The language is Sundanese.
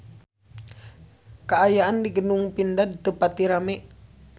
Kaayaan di Gedung Pindad teu pati rame